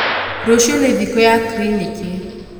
rũcio nĩ thikũ ya kiriniki